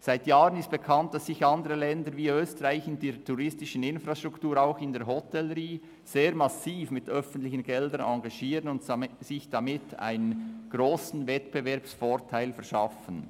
Seit Jahren ist bekannt, dass sich andere Länder wie Österreich in der touristischen Industrie wie auch in der Hotellerie sehr massiv mit öffentlichen Geldern engagieren und sich damit einen grossen Wettbewerbsvorteil verschaffen.